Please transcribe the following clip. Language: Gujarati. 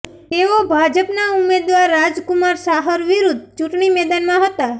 તેઓ ભાજપના ઉમેદવાર રાજકુમાર ચાહર વિરૂદ્ધ ચૂંટણી મેદાનમાં હતા